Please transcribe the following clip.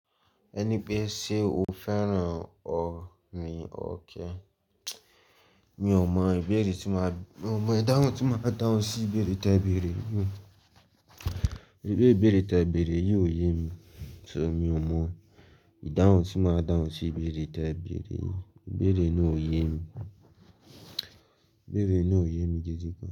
Ẹni pé ṣe o fẹ́ràn ọ ni o kẹ. Mi ò mọ ìbéèrè tí máa, mi ò mọ ìdáhùn tí máa dáhùn sí ìbéèrè tí ẹ béèrè mi. Iru ìbéèrè tí ẹ béèrè yìí ò yé mi, so mi ò mọ ìdáhùn tí máa dáhùn sí ìbéèrè tí a béèrè yìí. Ìbéèrè náà ò yé mi. Ìbéèrè náà ò yé mi gẹ́gẹ́ bí.